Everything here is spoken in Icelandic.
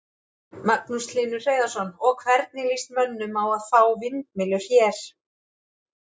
Magnús Hlynur Hreiðarsson: Og, hvernig lýst mönnum á að fá vindmyllur hér?